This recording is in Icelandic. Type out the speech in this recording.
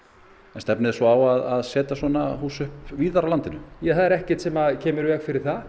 stefnið þið svo á að setja upp svona hús víðar á landinu það er ekkert sem kemur í veg fyrir það